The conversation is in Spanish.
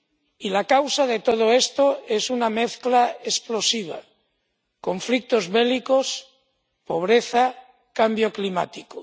Y la causa de todo esto es una mezcla explosiva conflictos bélicos, pobreza, cambio climático.